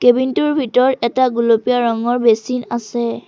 Cabin টোৰ ভিতৰত এটা গুলপীয়া ৰঙৰ বেছিন আছে।